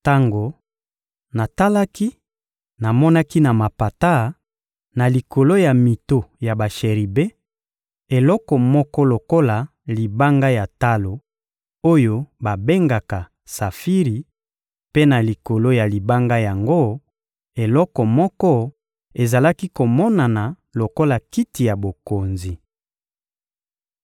Tango natalaki, namonaki na mapata, na likolo ya mito ya basheribe, eloko moko lokola libanga ya talo oyo babengaka safiri; mpe na likolo ya libanga yango, eloko moko ezalaki komonana lokola kiti ya bokonzi.